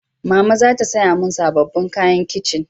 Mama za ta saya mun sabobbin kayan kitchen